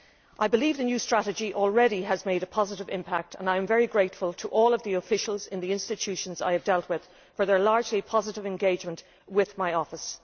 I believe the new strategy has already had a positive impact and I am very grateful to all of the officials in the institutions I have dealt with for their largely positive engagement with my office.